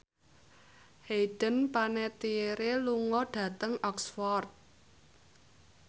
Hayden Panettiere lunga dhateng Oxford